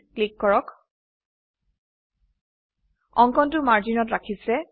click কৰক OK অঙ্কনটো মাৰ্জিনত ৰাখিছে